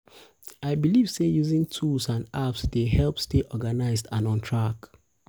i believe say using tools and apps dey help stay organized and on track.